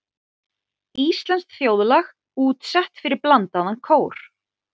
Íslenskt þjóðlag útsett fyrir blandaðan kór.